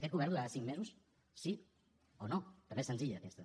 aquest govern durarà cinc mesos sí o no també és senzilla aquesta